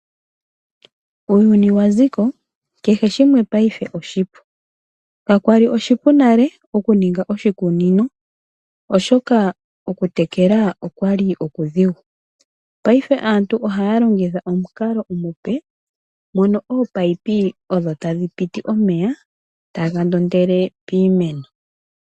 Uuyuni waziko kehe shimwe mongaashingeyi oshipu. Kakwali oshipu nale okuninga oshikunino oshoka okutekela okwali okudhigu. Mongaashingeyi aantu ohaya longitha omukalo omupe moka ominino odho tadhipiti omeya taga ndondele piimeno.